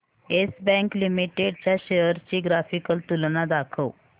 yes bank limited च्या shares ची graphical तुलना दाखव